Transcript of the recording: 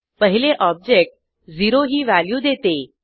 पहिले ऑब्जेक्ट 0 ही व्हॅल्यू देते